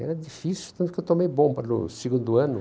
Era difícil, tanto que eu tomei bomba no segundo ano.